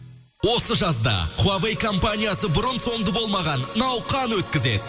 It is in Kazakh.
осы жазда хуавей компаниясы бұрын сонды болмаған науқан өткізеді